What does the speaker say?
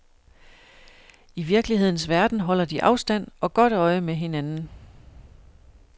I virkelighedens verden holder de afstand og godt øje med hinanden.